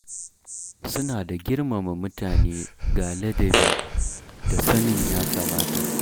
Suna da girmama mutane ga ladabi da sanin ya kamata.